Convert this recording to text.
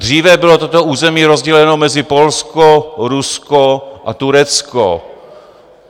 Dříve bylo toto území rozděleno mezi Polsko, Rusko a Turecko.